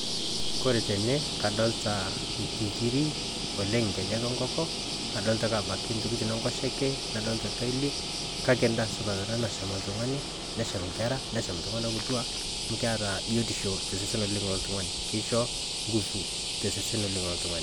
Kore tenee kadolita nkiiri oleng nkeejek e nkonko adolita ake abaki ntokitin e nkosheke nadolita nkaili. Kaki ndaa supaat ana nashaam ltung'ani neshaam nkerra. Neshaam ltung'ana kituak amu keeta biotisho te sesen oleng le ltungani. Keisho nguvuu te sesen oleng le ltung'ani.